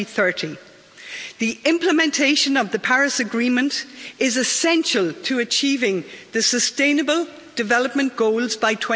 2030. The implementation of the Paris Agreement is essential to achieving the Sustainable Development Goals by